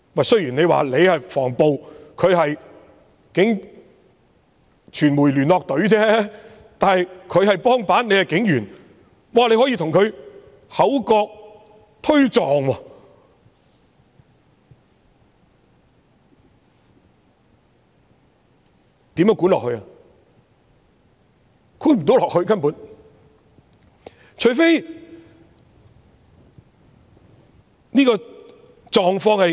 雖然你是防暴，而他是傳媒聯絡隊，但他是督察，你是警員，你竟然可以與他口角和推撞，這樣如何管理下去？